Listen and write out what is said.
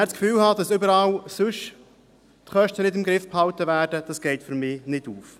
Das Gefühl zu haben, dass die Kosten sonst überall nicht im Griff behalten werden, geht für mich nicht auf.